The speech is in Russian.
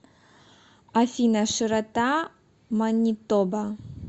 афина широта манитоба